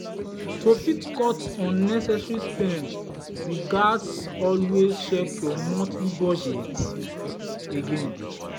to fit cut unnecessary spend you gats always check your monthly budget again.